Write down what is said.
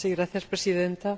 Señora Presidenta,